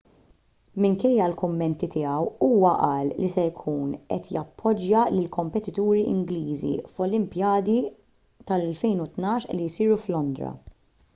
minkejja l-kummenti tiegħu huwa qal li se jkun qed jappoġġja lill-kompetituri ingliżi fl-olimpjadi tal-2012 li jsiru f'londra